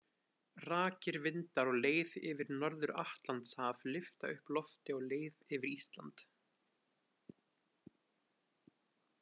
Rakir vindar á leið yfir Norður-Atlantshaf lyfta upp lofti á leið yfir Ísland.